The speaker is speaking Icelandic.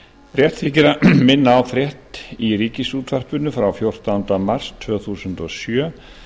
rétt þykir að minna á frétt í ríkisútvarpinu frá fjórtánda mars tvö þúsund og sjö